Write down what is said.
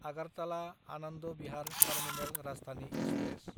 आगारताला–आनन्द Bihar terminal Rajdhani express